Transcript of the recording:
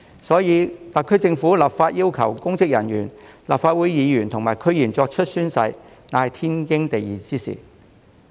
因此，特區政府立法要求公職人員、立法會議員及區議員作出宣誓，是天經地義的事。